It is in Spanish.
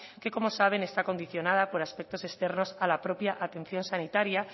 que como saben está condicionada por aspectos externos a la propia atención sanitaria